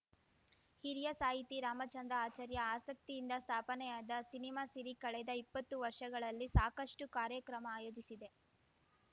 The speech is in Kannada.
ಹಿರಿಯ ಸಾಹಿತಿ ರಾಮಚಂದ್ರ ಆಚಾರ್ಯ ಆಸಕ್ತಿಯಿಂದ ಸ್ಥಾಪನೆಯಾದ ಸಿನಿಮಾ ಸಿರಿ ಕಳೆದ ಇಪ್ಪತ್ತು ವರ್ಷಗಳಲ್ಲಿ ಸಾಕಷ್ಚು ಕಾರ್ಯಕ್ರಮ ಆಯೋಜಿಸಿದೆ